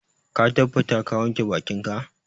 Ka tabbata ka wanke bakinka?